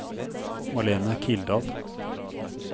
Marlene Kildal